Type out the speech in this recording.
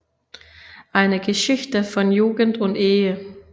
Eine Geschichte von Jugend und Ehe